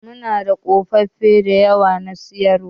Muna da ƙofofi da yawa na siyarwa.